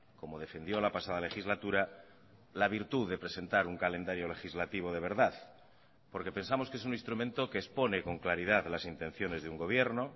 como defendió la pasada legislatura la virtud de presentar un calendario legislativo de verdad porque pensamos que es un instrumento que expone con claridad las intenciones de un gobierno